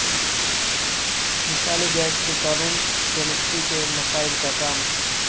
مثالی گیس کے قانون کیمسٹری کے مسائل کا کام